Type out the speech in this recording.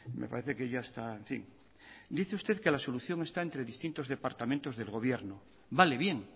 me parece que ya está en fin dice usted que la solución está entre distintos departamentos de gobierno vale bien